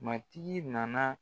Matigi nana